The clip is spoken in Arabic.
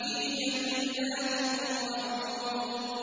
فِي جَنَّاتٍ وَعُيُونٍ